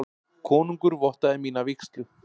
Konungur vottaði mína vígslu.